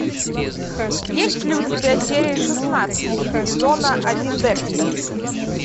есть ли у тебя серия шестнадцать сезона один декстер